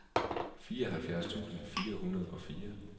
fireoghalvfjerds tusind fire hundrede og fire